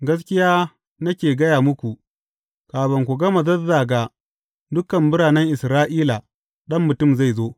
Gaskiya nake gaya muku, kafin ku gama zazzaga dukan biranen Isra’ila, Ɗan Mutum zai zo.